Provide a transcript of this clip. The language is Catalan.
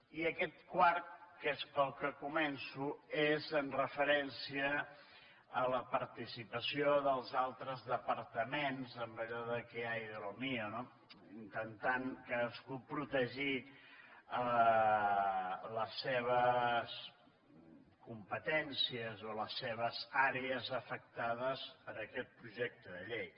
i aquest quart que és pel qual començo és amb referència a la participació dels altres departaments amb allò de qué hay de lo mío no intentant cadascú protegir les seves competències o les seves àrees afectades per aquest projecte de llei